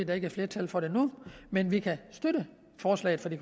der ikke er flertal for det nu men vi kan støtte forslaget fra de